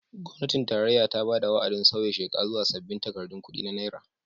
Gwamnatin tarayya ta bada wa'adin sauya sheka zuwa sabbin takardun kudi na naira.